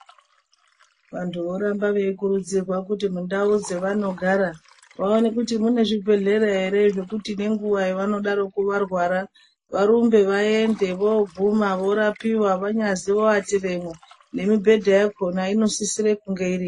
Vantu voramba veikurudzirwa kuti mundau dzavanogara vaone kuti mune zvibhedhlera here zvekuti nenguwa yavanonga vorwara varumbe vaende voatiramo vanyazi nekuatiramo nemibhedha yakona inosisira kunge iripo.